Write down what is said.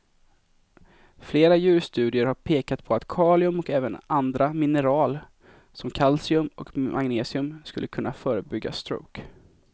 Flera djurstudier har pekat på att kalium och även andra mineral som kalcium och magnesium skulle kunna förebygga stroke.